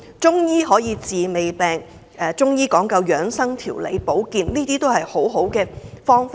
中醫可以治未病，講究養生、調理、保健，都是一些好方法。